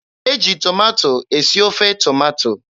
E ji tomato esi ofe tomato.